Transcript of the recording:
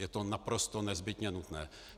Je to naprosto nezbytně nutné.